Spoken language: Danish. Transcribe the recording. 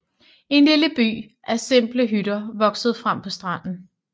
En lille by af simple hytter voksede frem på stranden